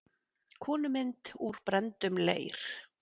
Konumynd úr brenndum leir.